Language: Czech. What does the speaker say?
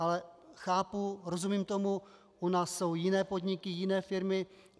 Ale chápu, rozumím tomu, u nás jsou jiné podniky, jiné firmy.